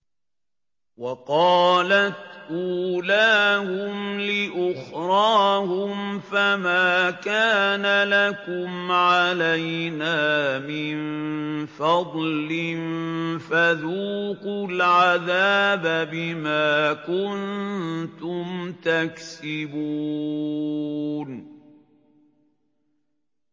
وَقَالَتْ أُولَاهُمْ لِأُخْرَاهُمْ فَمَا كَانَ لَكُمْ عَلَيْنَا مِن فَضْلٍ فَذُوقُوا الْعَذَابَ بِمَا كُنتُمْ تَكْسِبُونَ